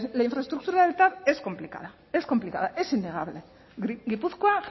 la infraestructura del tav es complicada es complicada es innegable gipuzkoa